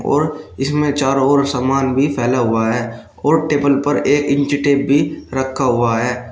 और इसमें चारों ओर सामान भी फैला हुआ है और टेबल पर एक इंच टेप रखा हुआ है।